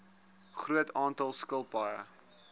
groot aantal skilpaaie